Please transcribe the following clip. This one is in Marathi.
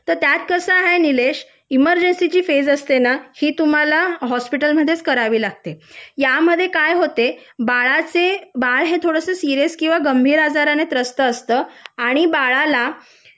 तर त्यात कसा आहे निलेश इमर्जन्सीची फेज असते ना ही तुम्हाला हॉस्पिटलमध्येच करावी लागते यामध्ये काय होते बाळाचे बाळ हे थोडेसे सिरीयस किंवा गंभीर आजाराने त्रस्त असतो आणि बाळाला